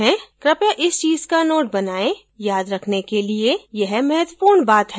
कृपया इस चीज का note बनाएँ याद रखने के लिए यह महत्वपूर्ण बात है